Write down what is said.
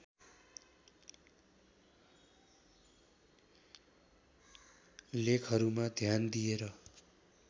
लेखहरूमा ध्यान दिएर